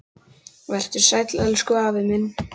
Vertu sæll, elsku afi minn.